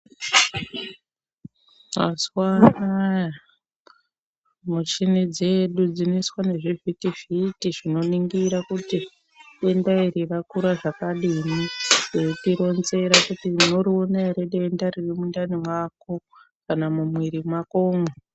Mazuva anaya muchini dzedu dzinoiswa nezvi vhiti vhiti zvino ningira kuti denda iri rakura zvakadini veiti ronzera kuti muno riona ere denda riri mundani mwako kana mu mwiri mwakomwo.